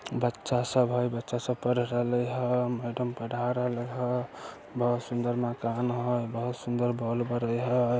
बच्चा सब है बच्चा सब पढ़ा रहले हेय मैडम पढ़ा रहले हेय बहोत सुन्दर मकान हेय बहुत सुन्दर बल्ब बड़े हेय।